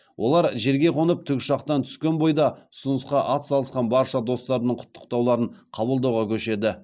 олар жерге қонып тікұшақтан түскен бойда ұсынысқа атсалысқан барша достарының құттықтауларын қабылдауға көшеді